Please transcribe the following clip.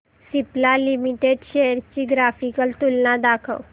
Cipla limited shares ची graphical तुलना दाखव